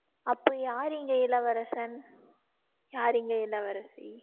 அப்போ யார் இங்க இளவரசன யார் இங்க இளவரசி